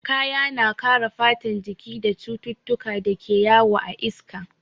Kaya na kare fatar jiki daga cututtukan da ke yawo a iska.